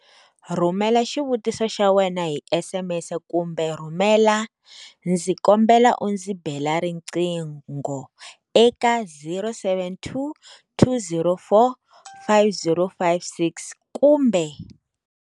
Rhumela xivutiso xa wena hi SMS kumbe rhumela 'Ndzi kombela u ndzi bela riqingho' eka- 072 204 5056, kumbe.